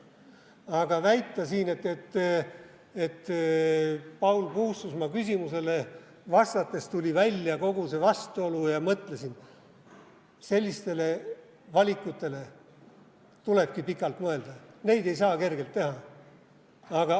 Aga väita siin, et Paul Puustusmaa küsimusele vastates tuli välja kogu see vastuolu ja mõtlesin – sellistele valikutele tulebki pikalt mõelda, neid ei saa kergelt teha.